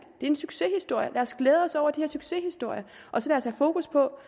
er en succeshistorie lad os glæde os over de her succeshistorier og så lad os have fokus på